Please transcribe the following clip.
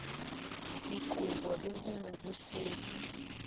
dikobo le ho mo busetsa